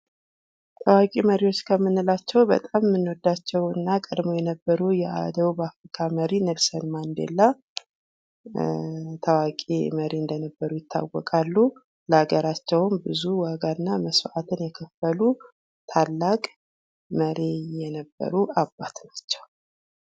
ታዋቂ መሪ ከምንላቸው በጣም የምንወዳቸው እና ቀድመው የነበሩ የአደው ካአመሪ ኔልሰን ማንዴላ ታዋቂ መሪ እንደነበሩ ይታወቃሉ። ለአገራቸውም ብዙ ዋጋ እና መስዋዕትን የከፈሉ ታላቅ መሪ የነበሩ አባት ናቸው።